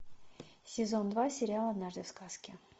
сезон два сериал однажды в сказке